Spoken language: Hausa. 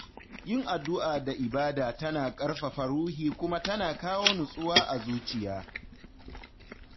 Yin addu’a da ibada tana ƙarfafa ruhi kuma tana kawo nutsuwa a zuciya.